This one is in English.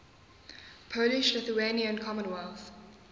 polish lithuanian commonwealth